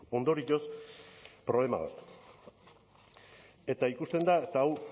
ondorioz problema bat eta ikusten da eta hau